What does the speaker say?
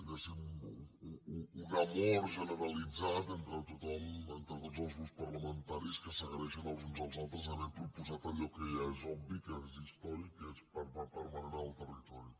un amor generalitzat entre tothom entre tots els grups parlamentaris que s’agraeixen els uns als altres haver proposat allò que ja és obvi que és històric que és permanent en el territori